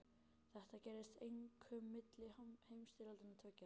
Þetta gerðist einkum milli heimsstyrjaldanna tveggja.